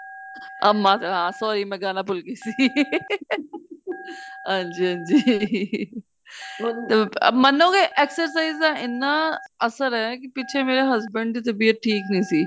ਅਮਾ ਹਾਂ sorry ਮੈਂ ਗਾਣਾ ਭੂਲ ਗਈ ਸੀ ਹਾਂਜੀ ਹਾਂਜੀ ਮਨੋਗੇ exercise ਦਾ ਇੰਨਾ ਅਸਰ ਏ ਪਿੱਛੇ ਮੇਰੇ husband ਦੀ ਤਬੀਅਤ ਠੀਕ ਨੀਂ ਸੀ